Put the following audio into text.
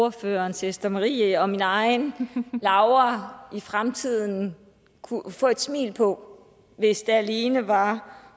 ordførerens ester marie og min egen laura i fremtiden kunne få et smil på hvis det alene var